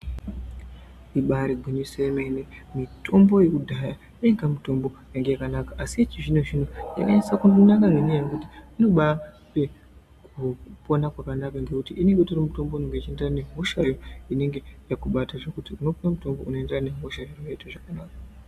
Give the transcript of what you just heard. Ibaari gwinyiso yemene mitombo yekudhaya yainga mitombo yainga yakanaka asi yechizvino zvino inonyatso kununama ngenyaya yekuti inobaa kupona kwakanaka ngekuti inenge itori mitombo inenge ichienderana nehosha inenge yakubata zvekuti unopuwa mitombo unoenderana nehosha woite zvakanaka.